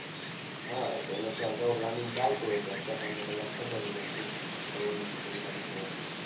હા એ તો એનાથી આગળનો પ્લાનિંગ ચાલતો જ હોય. તો અત્યારે તમને ખબર જ હોય. શું કરવાનું છે? કઈ બાજુ જવાનું છે?